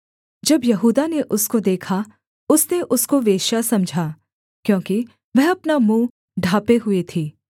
जब यहूदा ने उसको देखा उसने उसको वेश्या समझा क्योंकि वह अपना मुँह ढाँपे हुए थी